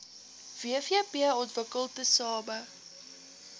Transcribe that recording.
wvp ontwikkel tesame